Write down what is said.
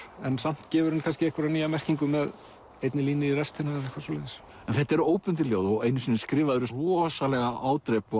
en samt gefur henni kannski einhverja nýja merkingu með einni línu í restina eitthvað svoleiðis en þetta eru óbundin ljóð og einu sinni skrifaðirðu rosalega ádrepu á